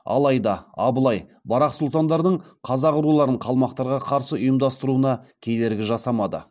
алайда абылай барақ сұлтандардың қазақ руларын қалмақтарға қарсы ұйымдастыруына кедергі жасамады